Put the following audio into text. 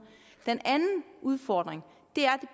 den anden udfordring er